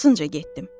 Arxasınca getdim.